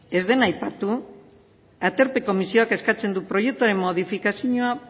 ez dena aipatu aterpe komisioak eskatzen du proiektuaren modifikazioa